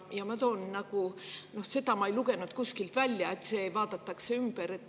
Ja seda ma ei lugenud kuskilt välja, et see vaadatakse ümber.